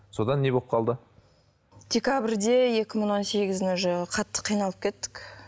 содан не болып қалды декабрьде екі мың он сегіздің уже қатты қиналып кеттік